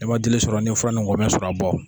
N'i ma dili sɔrɔ n'i ye fura ni ngɔmɛ sɔrɔ a bɔ.